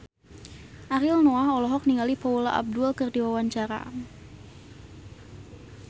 Ariel Noah olohok ningali Paula Abdul keur diwawancara